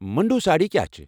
مُنڈوٗ سٲڑھۍ کیٚا چھِ؟